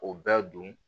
O bɛɛ don